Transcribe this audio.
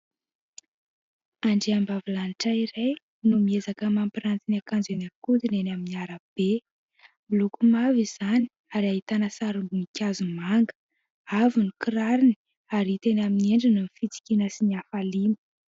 Andriambavilanitra iray no miezaka mampiranty ny akanjo eny an-kodiny eny amin'ny arabe. Miloko mavo izany ary ahitana sarim-boninkazo manga. Avo ny kirarony ary hita eny amin'ny endriny ny fitsikiana sy ny hafaliana.